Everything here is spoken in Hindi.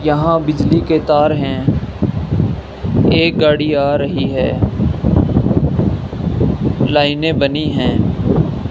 यहाँ बिजली के तार हैं एक गाड़ी आ रही है लाइने बनी हैं।